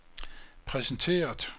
præsenteret